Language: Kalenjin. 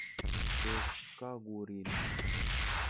Tos kakurin?